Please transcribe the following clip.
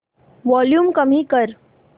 volume कमी कर